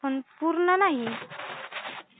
पण पूर्ण नाही